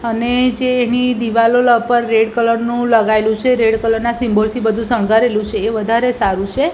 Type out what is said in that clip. અને જે એની દીવાલો લ પર રેડ કલર નુ લગાઇલુ છે રેડ કલર ના સિમ્બોલ થી બધુ સંગારેલું છે એ વધારે સારુ છે.